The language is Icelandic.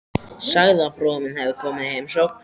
Sagði að bróðir minn hefði komið í heimsókn.